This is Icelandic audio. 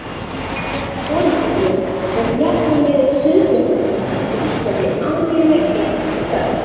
Gott forystufé hefur jafnan verið sauðfjárbændum á Íslandi ánægjuleg eign og þörf.